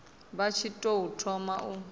vha tshi tou thoma u